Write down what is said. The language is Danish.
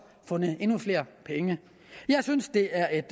fundet endnu flere penge jeg synes det er et